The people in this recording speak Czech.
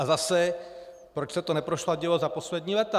A zase, proč se to neprosadilo za poslední léta?